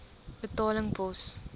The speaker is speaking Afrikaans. betaling pos